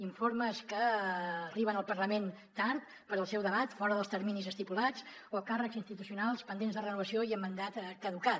informes que arriben al parlament tard pel seu debat fora dels terminis estipulats o càrrecs institucionals pendents de renovació i amb mandat caducat